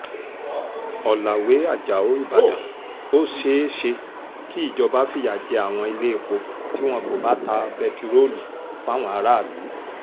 ọ̀làwé ajáò ìbàdàn ó ṣeé ṣe kí ìjọba fìyà jẹ àwọn iléepo tí wọn kò bá ta bẹtiróòlù fáwọn aráàlú